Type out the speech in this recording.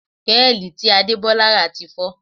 Péèlì tí Adebola rà ti fọ́